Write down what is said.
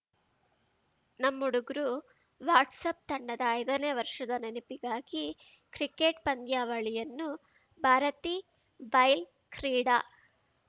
ನಮ್ಮುಡುಗ್ರು WhatsApp ತಂಡದ ಐದನೇ ವರ್ಷದ ನೆನಪಿಗಾಗಿ ಕ್ರಿಕೆಟ್‌ ಪಂದ್ಯಾವಳಿಯನ್ನು ಭಾರತಿಬೈಲ್‌ ಕ್ರೀಡಾ